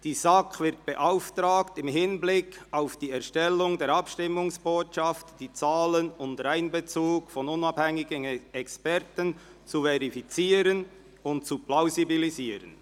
«Die SAK wird beauftragt, im Hinblick auf die Erstellung der Abstimmungsbotschaft die Zahlen unter Einbezug von unabhängigen Experten zu verifizieren und zu plausibilisieren.»